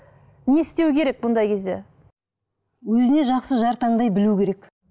не істеу керек бұндай кезде өзіне жақсы жар таңдай білу керек